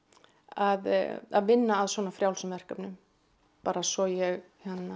að vinna að svona frjálsum verkefnum bara svo ég